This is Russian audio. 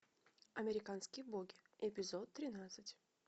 американские боги эпизод тринадцать